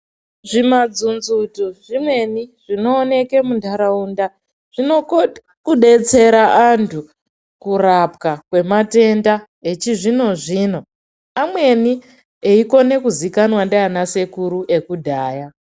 Zvimanzuzunzu zvimweni zvinoonekwa mundaraunda zvinokona kudetsera antu kurapwa kwematenda yechizvino zvino amweni Eikona kuzikanwa ndivana sekuru vekudhaya.